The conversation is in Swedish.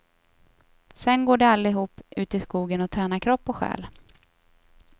Sen går de allihop ut i skogen och tränar kropp och själ.